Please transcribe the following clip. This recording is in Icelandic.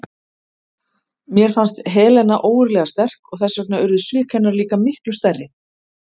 Mér fannst Helena ógurlega sterk og þess vegna urðu svik hennar líka miklu stærri.